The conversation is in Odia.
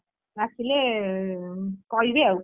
ଆସିଲେ କହିବି ଆଉ,